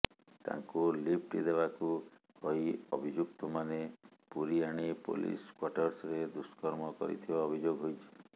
ତାଙ୍କୁ ଲିଫ୍ଟ ଦେବାକୁ କହି ଅଭିଯୁକ୍ତମାନେ ପୁରୀ ଆଣି ପୋଲିସ କ୍ୱାର୍ଟର୍ସରେ ଦୁଷ୍କର୍ମ କରିଥିବା ଅଭିଯୋଗ ହୋଇଛି